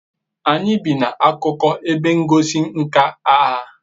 anyi bi na akuko ebe ngosi nka agha